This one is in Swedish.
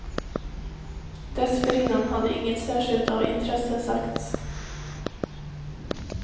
Dessförinnan hade inget särskilt av intresse sagts.